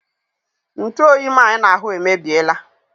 Ntuoyi m a I na-ahụ emebiela